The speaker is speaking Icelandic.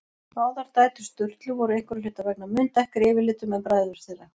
Báðar dætur Sturlu voru einhverra hluta vegna mun dekkri yfirlitum en bræður þeirra.